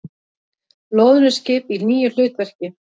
Loðnuskip í nýju hlutverki